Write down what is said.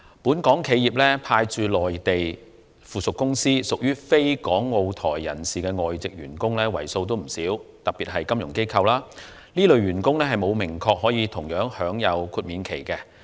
本港企業派駐內地的附屬公司，特別是金融機構，有不少非港澳台人士的外籍員工，而現時並有明確表示，這些員工也可享有同樣的豁免期。